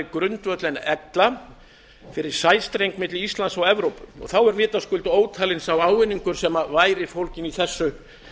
grundvöll en ella fyrir sæstreng milli íslands og evrópu þá er vitaskuld ótalinn sá ávinningur sem væri fólginn í þessu